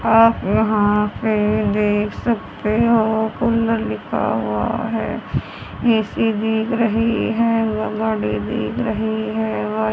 आप यहां पे देख सकते हो कुंडल लिखा हुआ है